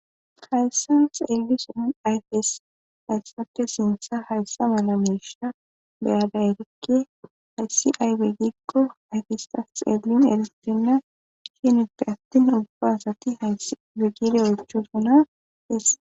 Hayssa xeeli si ayfes hayssate sintha hayssa malamesha beyada erikke hayssi ay beggikqo ayfisa xeellin eristina ishinippe attin ubba asati hay bigire oychosona issa